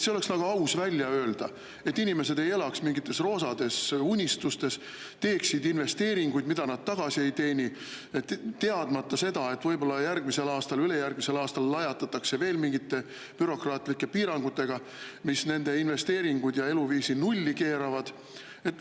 See oleks aus välja öelda, et inimesed ei elaks mingites roosades unistustes, ei teeks investeeringuid, mida nad tagasi ei teeni, teadmata seda, et võib-olla järgmisel aastal, ülejärgmisel aastal lajatatakse veel mingite bürokraatlike piirangutega, mis nende investeeringud ja eluviisi nulli keeravad.